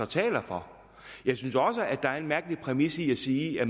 taler for jeg synes også at der er en mærkelig præmis i at sige at